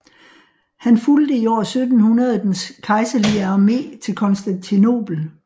Han fulgte i år 1700 den kejserlige armé til Konstantinopel